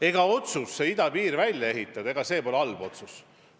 Ega otsus idapiir välja ehitada pole halb otsus.